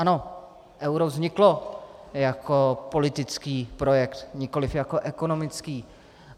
Ano, euro vzniklo jako politický projekt, nikoli jako ekonomický.